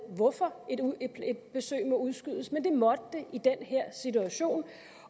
hvorfor et besøg må udskydes men det måtte det i den her situation